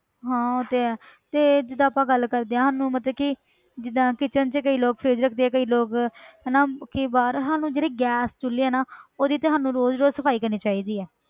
ਹਾਂ ਉਹ ਤੇ ਹੈ ਤੇ ਜਿੱਦਾਂ ਆਪਾਂ ਗੱਲ ਕਰਦੇ ਹਾਂ ਸਾਨੂੰ ਮਤਲਬ ਕਿ ਜਿੱਦਾਂ kitchen 'ਚ ਕਈ ਲੋਕ fridge ਰੱਖਦੇ ਆ ਕਈ ਲੋਕ ਹਨਾ ਕਿ ਬਾਹਰ ਜਿਹੜੇ ਗੈਸ ਚੁੱਲੇ ਆ ਨਾ ਉਹਦੀ ਤੇ ਸਾਨੂੰ ਰੋਜ਼ ਰੋਜ਼ ਸਫ਼ਾਈ ਕਰਨੀ ਚਾਹੀਦੀ ਹੈ